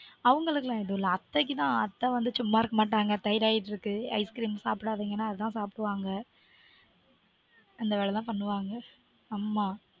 அவங்களுக்கெல்லாம் எதுவுமில்ல அத்தைக்குதா அத்த வந்து சும்மா இருக்க மாட்டாங்க thyroid இருக்கு ice cream சாப்டாதீங்கனா அதா சாப்டுவாங்க அந்த வேலைதா பண்ணுவாங்க